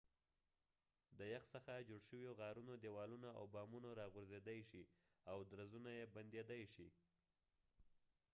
د یخ څخه جوړ شويو غارونو دیوالونه او بامونه راغورځیدای شي او درزونه یې بندیدای شي